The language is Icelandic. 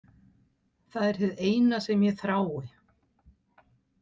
Það er hið eina sem ég þrái.